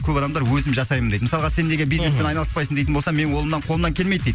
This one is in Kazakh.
көп адамдар өзім жасаймын дейді мысалға сен неге бизнеспен айналыспайсың дейтін болса менің қолымнан қолымнан келмейді дейді